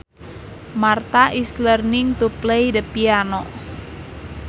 Martha is learning to play the piano